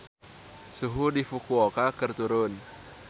Suhu di Fukuoka keur turun